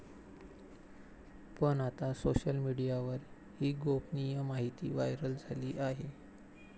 पण आता सोशल मीडियावर ही गोपनीय माहिती व्हायरल झाली आहे.